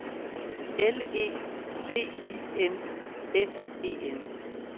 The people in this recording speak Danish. L E V I N S E N